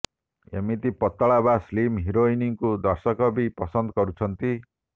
ଏମିତି ପତଳା ବା ସ୍ଲିମ ହିରୋଇନଙ୍କୁ ଦର୍ଶକ ବି ପସନ୍ଦ କରୁଛନ୍ତି